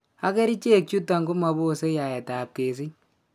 Ak, kerichek chuton komaboose yaetab kesich.